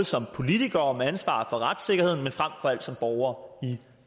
som politikere med ansvar for retssikkerheden men frem for alt som borgere